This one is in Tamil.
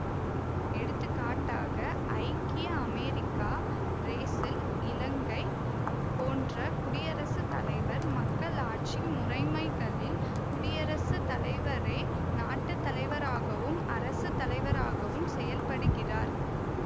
எடுத்துக்காட்டாக ஐக்கிய அமெரிக்கா பிரேசில் இலங்கை போன்ற குடியரசு தலைவர் மக்களாட்சி முறைமைகளில் குடியரசு தலைவரே நாட்டு தலைவராகவும் அரசு தலைவராகவும் செயல்படுகிறார்